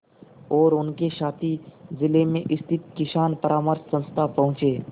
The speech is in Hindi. और उनके साथी जिले में स्थित किसान परामर्श संस्था पहुँचे